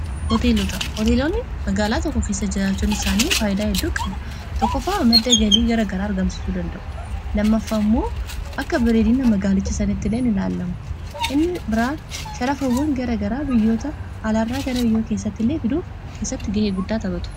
oteelota hooteeloonni magaalaa tokko keessa jiraachuun isaanii faayyidaa hedduu qab tokkofaa madda galii gara garaa argamsituu danda'u lammaffa immoo akka bireediina magaalicha saniti ileen ilaallamu inni biraan sharafawwan gara garaa biyyoota alaarraa gara biyyoo keessatti illee fiduuf keessatti ga'ee guddaatatotu